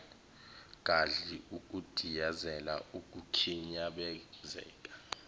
gadli ukudiyazela ukukhinyabezeka